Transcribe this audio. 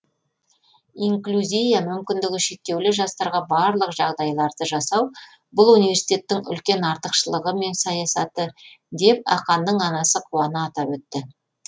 инклюзия мүмкіндігі шектеулі жастарға барлық жағдайларды жасау бұл университеттің үлкен артықшылығы мен саясаты деп ақанның анасы қуана атап өтті